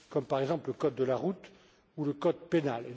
gens, par exemple le code de la route ou le code pénal.